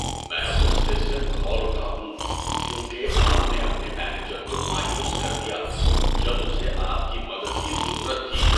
میں غصے سے کھول اٹھا ہوں کیونکہ آپ نے اپنے مینیجر کو مایوس کر دیا جب اسے آپ کی مدد کی ضرورت تھی۔